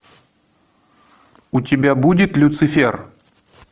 у тебя будет люцифер